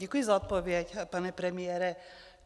Děkuji za odpověď, pane premiére.